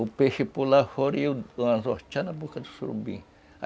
O peixe pulava fora e o anzol na boca do surubim.